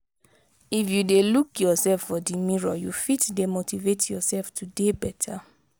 if you de look yourself for di mirror you fit de motivate yourself to dey better